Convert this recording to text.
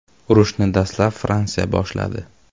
Urushni dastlab Fransiya boshladi.